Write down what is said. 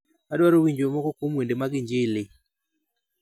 Adwaro winjo moko kuom wende mag injili